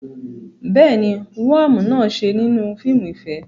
Bẹ́ẹ̀ ni, woam náà ṣe nínú fíìmù ìfẹ́.